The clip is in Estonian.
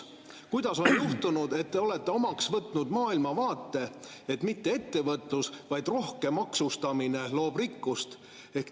Kuidas on juhtunud, et te olete omaks võtnud maailmavaate, et mitte ettevõtlus, vaid rohke maksustamine loob rikkust?